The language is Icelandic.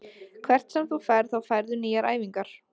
Hvert sem þú ferð þá færðu nýjar æfingar.